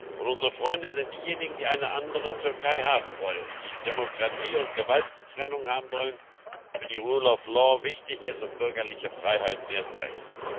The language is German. Und unsere Freunde sind diejenigen, die eine andere Türkei haben wollen, die Demokratie und Gewaltenteilung haben wollen, für die Rechtsstaatlichkeit wichtig ist und bürgerliche Freiheiten erst recht.